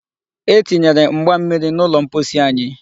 E tinyere mgba mmiri n'ụlọ mposi anyị.